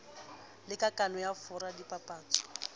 le kakano ya fora dipapatso